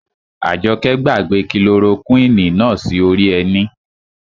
Àjọkẹ́ gbàgbé kilorokúwìnì náà sí orí ẹní